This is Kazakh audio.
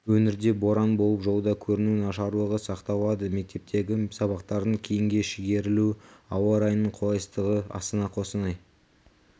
өңірде боран болып жолда көріну нашарлығы сақталады мектептегі сабақтардың кейінге шегерілуі ауа райының қолайсыздығы астана қостанай